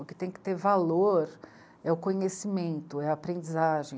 O que tem que ter valor é o conhecimento, é a aprendizagem.